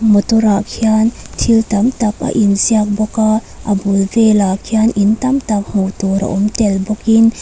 motor ah khian thil tam tak a in ziak bawk a a bul velah khian in tam tak hmuh tur a awm tel bawkin.